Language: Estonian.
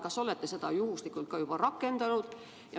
Kas te olete seda juba rakendanud?